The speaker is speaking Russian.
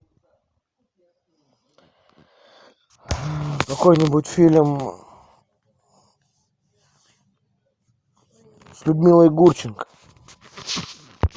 какой нибудь фильм с людмилой гурченко